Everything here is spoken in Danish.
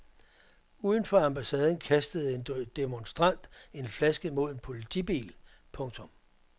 Uden for ambassaden kastede en demonstrant en flaske mod en politibil. punktum